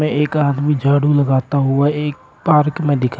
एक आदमी झाड़ू लगाता हुआ एक पार्क में दिख--